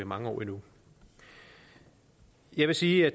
mange år endnu jeg vil sige at